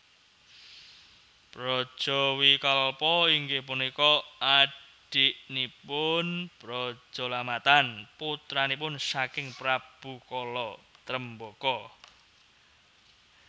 Brajawikalpa inggih punika adiknipun Brajalamatan putranipun saking Prabu Kala Tremboko